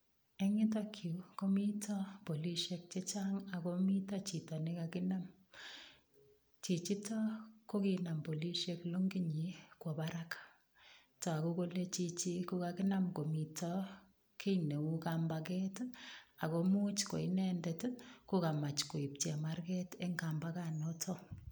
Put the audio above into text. Eng yutok yu komito polisiek chechang ak komito chito ne kaginam. Chichito koginam polisiek longinyin kwo barak. Tagu kole chichi ko kaginam komito kiy neu kambaget ago much ko inendet ko kamach koip chemarget eng kambaganoto.